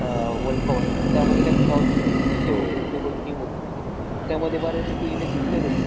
हा आह world cup होता बघ. त्यामध्ये नाही का, साऊ हेची team होती, ची team होती, त्यामध्ये बऱ्यापैकी इंडियाचेच player होते.